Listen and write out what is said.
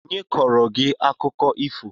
Onye kọọrọ gị akụkọ ifo?